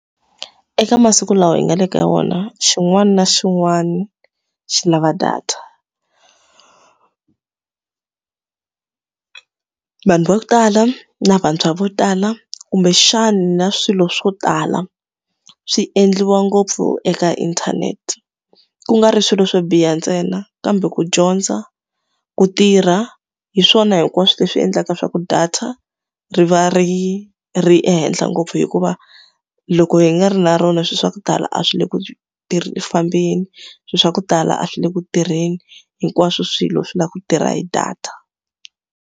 Eka masiku lawa hi nga le ka wona xin'wana na xin'wana xi lava data. Vanhu va ku tala na vantshwa vo tala, kumbexana swilo swo tala swi endliwa ngopfu eka inthanete. Ku nga ri swilo swo biha ntsena kambe ku dyondza, ku tirha, hi swona hinkwaswo leswi endlaka swa ku data ri va ri ri ehenhla ngopfu. Hikuva loko hi nga ri na rona swilo swa ku tala a swi le ku fambeni, swilo swa ku tala a swi le ku tirheni, hinkwaswo swilo swi lava ku tirha hi data.